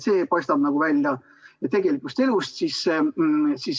See paistab välja tegelikust elust.